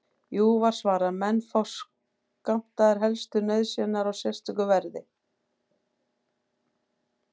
Jú, var svarað, menn fá skammtaðar helstu nauðsynjar á sérstöku verði.